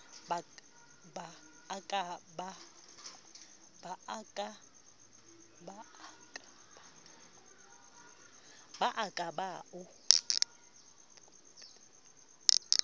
ba a ka ba o